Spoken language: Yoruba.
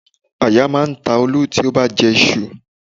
Aya máa ń ta Olú tí ó bá jẹ iṣu